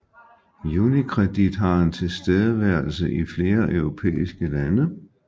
UniCredit har en tilstedeværelse i flere europæiske lande